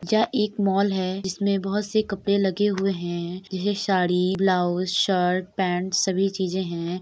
यह एक मॉल है जिसमें बहोत से कपड़े लगे हुए हैं| जैसे साड़ी ब्लाउज शर्ट पैन्ट सभी चीजे हैं|